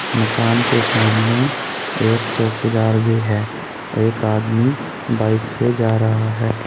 मकान के सामने एक चौकीदार भी है एक आदमी बाइक से जा रहा है।